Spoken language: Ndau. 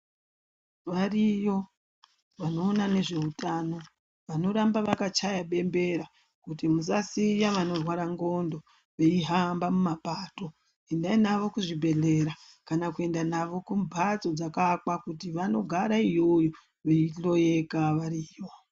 Variyo vanoona nezveutano vanoramba vakachaya bembera kuti musasiya vanorwara ndxondo veihamba mumapato, endai navo kuzvibhedhlera kana kuenda navo kumbatso dzakaakwa kuti vanogara iyoyo veihloika variyo.